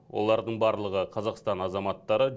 олардың барлығы қазақстан азаматтары